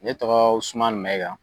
Ne tɔgɔ Usumani Mayiga.